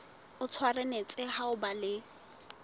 o tshwanetse ho ba le